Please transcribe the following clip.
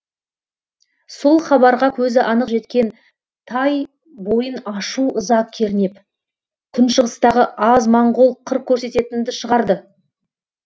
сол хабарға көзі анық жеткен тай бойын ашу ыза кернеп күншығыстағы аз моңғол қыр көрсететінді шығарды